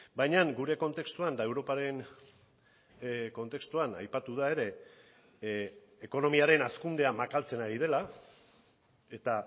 baina gure kontestuan eta europaren kontestuan aipatu da ere ekonomiaren hazkundea makaltzen ari dela eta